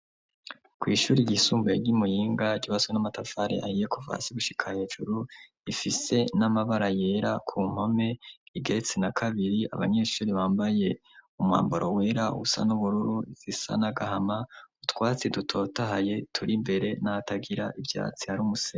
ku ishuri ryisumbuye ry'imuyinga ryubatswe n'amatafare ahiye kuva hasi gushika hejuru, ifise n'amabara yera ku mpome, igeretse na kabiri, abanyeshuri bambaye umwambaro wera usa n'ubururu, zisa nagahama, utwatsi dutotahaye turi imbere, n'ahatagira ivyatsi hari umuse.